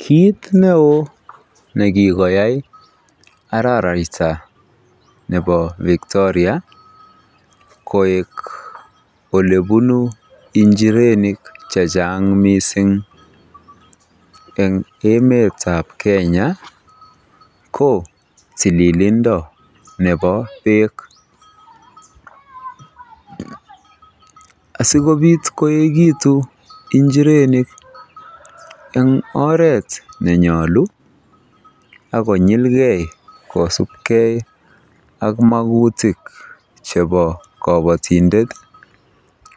Kit neo nekikotai araraita bebe Victoria, koek olebunu inchirenik chechang mising eng emetab Kenya, ko tililindo nebo bek, asikobit koekitu inchirenik eng oret nenyalu akonyilken kosubken ak makutik chebo kabatindet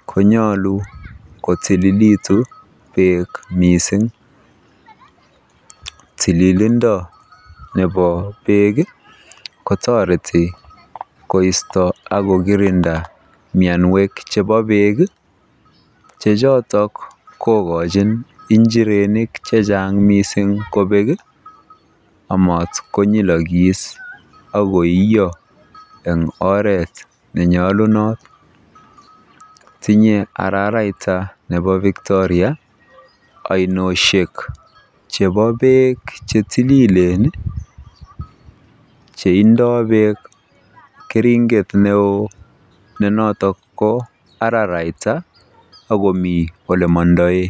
ko nyalu kotililit kot missing, tililindo nebo bek kotoreti koisto akokirinda mnyanwek chebo bek chechoton kokochin inchirenik chechang mising kobeku ,amat konyilakis akoiyo eng oret nenyalunot, tinye araraita nebo Victoria ainosyek chebo bek chetililen cheindo bek Keringet neo nenoton ko araraita olemandae.